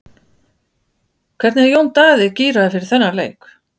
Hvernig er Jón Daði gíraður fyrir þann leik?